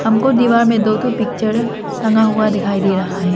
हमको दीवार में दो ठो पिक्चर टंगा हुआ दिखाई दे रहा है।